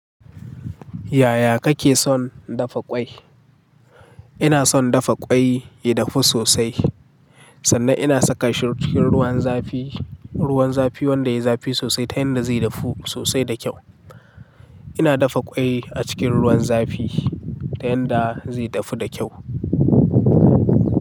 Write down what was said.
Yaya kake son dafa ƙwai? Ina son dafa ƙwai ya dafu sosai sannan ina saka shi cikin ruwan zafi, ruwan zafi wanda yai zafi sosai ta yanda zai dafu sosai da kyau. Ina dafa ƙwai a cikin ruwan zafi ta yanda zai dafu da kyau.